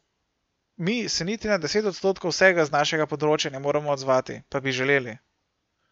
Mi se niti na deset odstotkov vsega z našega področja ne moremo odzvati, pa bi želeli.